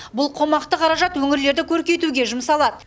бұл қомақты қаражат өңірлерді көркейтуге жұмсалады